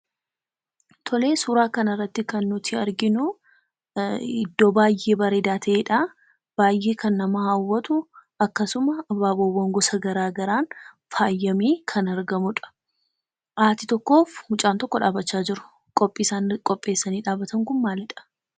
Tolee, suuraa kanarratti kan nuti arginu iddoo baayyee bareedaa tae'dha. Baay'ee kan nama hawwatu akkasuma abaaboo gosa gara garaan faayyamee kan argamudha. Haati tokkoof mucaan tokko dhaabachaa jiru. Qophii isaan qopheessanii dhaabatan kun maalidha?